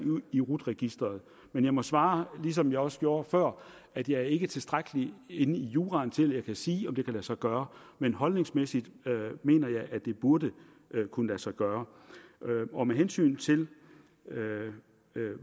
i rut registeret men jeg må svare som jeg også gjorde før at jeg ikke er tilstrækkeligt inde i juraen til at jeg kan sige om det kan lade sig gøre men holdningsmæssigt mener jeg at det burde kunne lade sig gøre med hensyn til